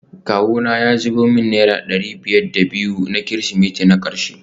Kawuna ya zubo min naira dari biyar da biyu na kirsimeti na karshe